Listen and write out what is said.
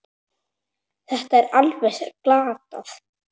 Þetta var alveg glatað.